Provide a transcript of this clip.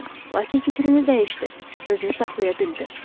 Lakin fikrini dəyişdi, özünü saxlaya bildi.